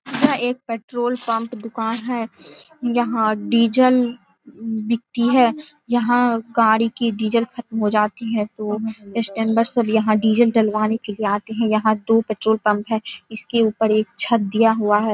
यह एक petrol pump दुकान है। यहाँ डीजल बिकती है। यहाँ गाड़ी की डीजल खत्म हो जाती है तो कस्टमर सब यहाँ डीजल डलवाने के लिए आते हैं। यहाँ दो पेट्रोल पंप है। इसके ऊपर एक छत दिया हुआ है।